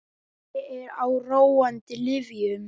Ég er á róandi lyfjum.